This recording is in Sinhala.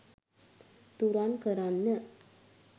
තුරන් කරන්න.